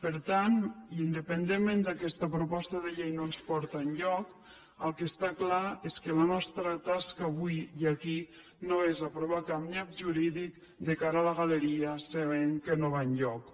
per tant independentment que aquesta proposta de llei no ens porta enlloc el que està clar és que la nostra tasca avui i aquí no és aprovar cap nyap jurídic de cara a la galeria sabent que no va enlloc